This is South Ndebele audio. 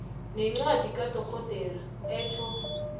nencwadi kadorhodera etjho